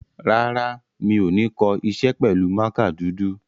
Rárá, mi ò ní kọ iṣẹ́ pẹ̀lú mákà dúdú.